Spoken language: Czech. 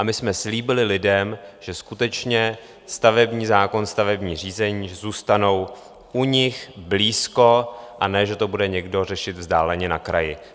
A my jsme slíbili lidem, že skutečně stavební zákon, stavební řízení zůstanou u nich blízko, a ne že to bude někdo řešit vzdáleně na kraji.